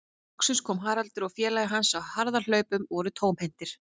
Loksins komu Haraldur og félagi hans á harðahlaupum og voru tómhentir.